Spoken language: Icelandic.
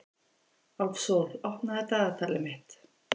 Álfsól, opnaðu dagatalið mitt.